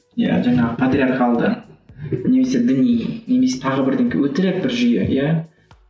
иә жаңағы патриархалды немесе діни немесе тағы өтірік бір жүйе иә